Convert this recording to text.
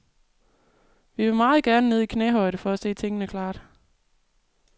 Vi vil meget gerne ned i knæhøjde for at se tingene klart.